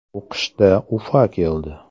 U qishda “Ufa” keldi.